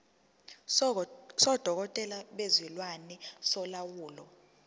sodokotela bezilwane solawulo